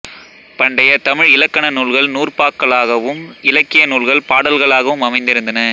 பண்டைய தமிழ் இலக்கண நூல்கள் நூற்பாக்களாகவும் இலக்கிய நூல்கள் பாடல்களாகவும் அமைந்திருந்தன